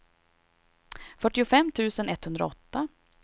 fyrtiofem tusen etthundraåtta